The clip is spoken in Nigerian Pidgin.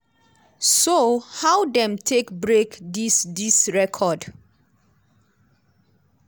so how dem take break dis dis record?